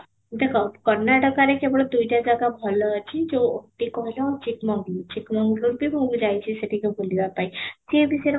ଦେଖ କର୍ଣାଟକାରେ କେବଳ ଦୁଇଟା ଜାଗା ଭଲ ଅଛି ଯଉ କି କହିଲ ଚିକମୋଙ୍ଗି ଚିକମୋଙ୍ଗି କୁ ମୁଁ ବି ଯାଇଛି ସେଠି କି ବୁଲିବା ପାଇଁ ସେ ବି ସେ ରକମ